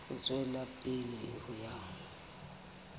ho tswela pele ho ya